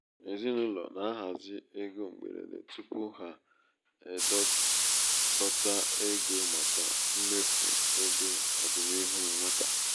ezinaụlọ na-ahazi égo mgberede tupu ha edokọta ego màkà mmefu ego ọdịnihu nwata.